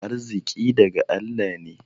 Arziƙi daga Allah ne.